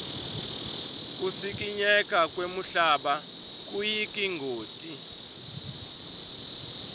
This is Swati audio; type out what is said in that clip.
kusikinyeka kwemhlaba kuyingoti